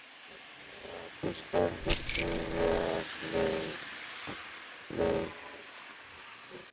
Þú stendur þig vel, Leif!